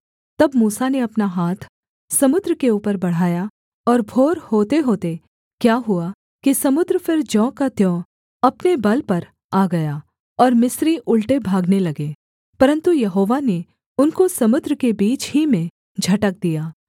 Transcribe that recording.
तब मूसा ने अपना हाथ समुद्र के ऊपर बढ़ाया और भोर होतेहोते क्या हुआ कि समुद्र फिर ज्यों का त्यों अपने बल पर आ गया और मिस्री उलटे भागने लगे परन्तु यहोवा ने उनको समुद्र के बीच ही में झटक दिया